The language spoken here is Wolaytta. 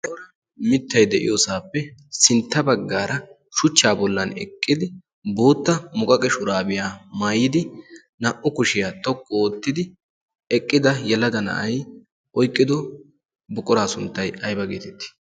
mittai de7iyoosaappe sintta baggaara shuchchaa bollan eqqidi bootta muqaqe shuraabiyaa maayidi naa77u kushiyaa xoqqu oottidi eqqida yelada na7ai oiqqido buqoraa sunttai aiba geetettii?